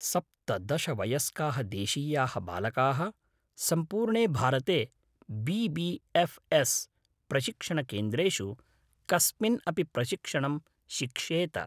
सप्तदश वयस्काः देशीयाः बालकाः सम्पूर्णे भारते बी बी एफ् एस् प्रशिक्षणकेन्द्रेषु कस्मिन् अपि प्रशिक्षणं शिक्षेत।